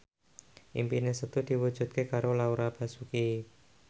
impine Setu diwujudke karo Laura Basuki